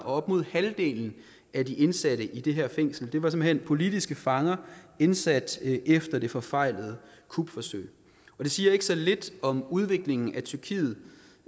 op mod halvdelen af de indsatte i det her fængsel er simpelt hen politiske fanger indsat efter det forfejlede kupforsøg det siger ikke så lidt om udviklingen i tyrkiet